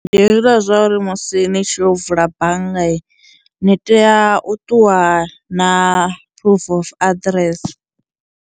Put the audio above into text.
Ndi hezwila zwa uri musi ni tshi yo vula banngani ni tea u ṱuwa na proof of address.